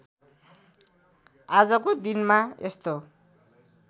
आजको दिनमा यस्तो